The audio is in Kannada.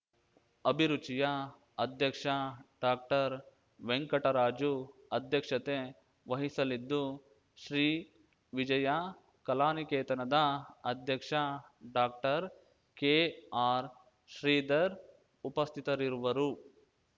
ಅಭಿರುಚಿಯ ಅಧ್ಯಕ್ಷ ಡಾಕ್ಟರ್ ವೆಂಕಟರಾಜು ಅಧ್ಯಕ್ಷತೆ ವಹಿಸಲಿದ್ದು ಶ್ರೀವಿಜಯ ಕಲಾನಿಕೇತನದ ಅಧ್ಯಕ್ಷ ಡಾಕ್ಟರ್ಕೆಆರ್‌ಶ್ರೀಧರ್‌ ಉಪಸ್ಥಿತರಿರುವರು